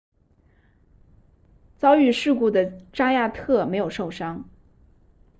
遭遇事故的扎亚特没有受伤